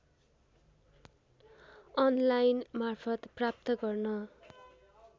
अनलाइनमार्फत प्राप्त गर्न